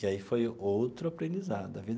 E aí foi outro aprendizado a vida.